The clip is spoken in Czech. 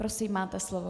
Prosím, máte slovo.